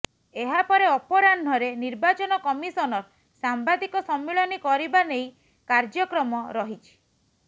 ଏହା ପରେ ଅପରାହ୍ନରେ ନିର୍ବାଚନ କମିଶନର ସାମ୍ବାଦିକ ସମ୍ମିଳନୀ କରିବା ନେଇ କାର୍ଯ୍ୟକ୍ରମ ରହିଛି